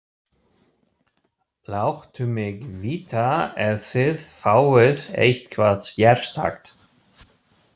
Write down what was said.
Láttu mig vita ef þið fáið eitthvað sérstakt.